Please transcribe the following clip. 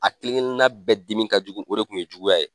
A kelenkelenna bɛɛ dimi ka jugu o de tun ye juguya ye